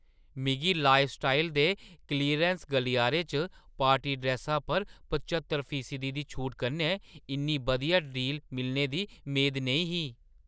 मिगी लाइफस्टाइल दे क्लीयरैंस गलियारे च पार्टी ड्रैस्सा पर पच्हत्तर फीसदी दी छूटा कन्नै इन्नी बधिया डील मिलने दी मेद नेईं ही।